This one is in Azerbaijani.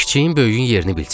Kiçiyin, böyüyün yerini bilsin.